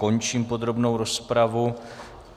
Končím podrobnou rozpravu.